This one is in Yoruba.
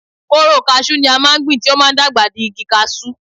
Kóóró kasú ni a máa ń gbìn tí ó máa ń dàgbà di igi kasú.